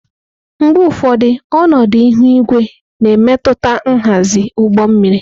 Mgbe ụfọdụ, ọnọdụ ihu igwe na-emetụta nhazi ụgbọ mmiri.